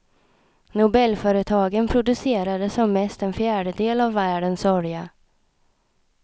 Nobelföretagen producerade som mest en fjärdedel av världens olja.